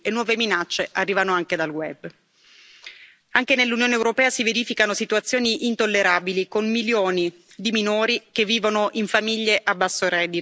Anche nell'Unione europea si verificano situazioni intollerabili, con milioni di minori che vivono in famiglie a basso reddito, dove le condizioni di vita sono inaccettabili.